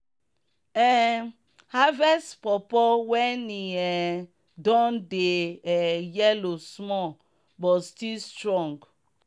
um harvest pawpaw when e um don dey um yellow small but still strong.